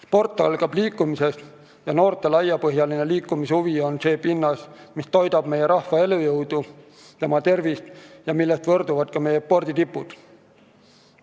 Sport algab liikumisest ja noorte laiapõhjaline liikumishuvi on see pinnas, mis toidab meie rahva elujõudu, tema tervist ja millest võrsuvad ka meie sporditipud.